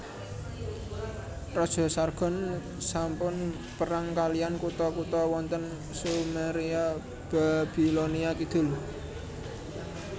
Raja Sargon sampun perang kaliyan kutha kutha wonten Sumeria Babilonia Kidul